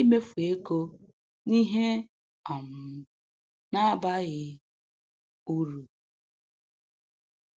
imefu ego n'ihe um na-abaghị uru